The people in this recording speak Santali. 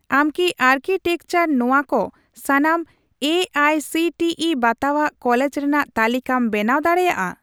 ᱟᱢ ᱠᱤ ᱟᱨᱠᱤᱴᱮᱠᱪᱟᱨ ᱱᱚᱣᱟ ᱠᱚ ᱥᱟᱱᱟᱢ A I C T E ᱵᱟᱛᱟᱣᱟᱜ ᱠᱚᱞᱮᱡᱽ ᱨᱮᱱᱟᱜ ᱛᱟᱞᱤᱠᱟᱢ ᱵᱮᱱᱟᱣ ᱫᱟᱲᱮᱭᱟᱜᱼᱟ ᱾